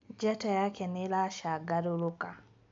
njata yake nĩ ĩlasangalaluka